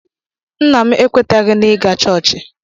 Nna m ekwetaghị n'ịga chọọchị